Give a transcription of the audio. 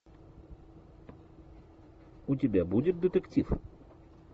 у тебя будет детектив